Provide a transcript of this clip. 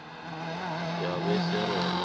yabaseroma